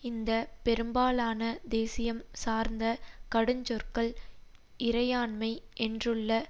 இந்த பெரும்பாலான தேசியம் சார்ந்த கடுஞ்சொற்கள் இறையாண்மை என்றுள்ள